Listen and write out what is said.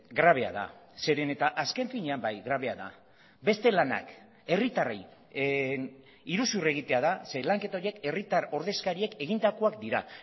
grabea da zeren eta azken finean bai grabea da beste lanak herritarrei iruzur egitea da ze lanketa horiek herritar ordezkariek egindakoak dira